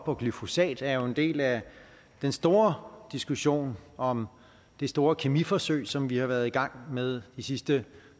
og glyfosat er en del af den store diskussion om det store kemiforsøg som vi har været i gang med de sidste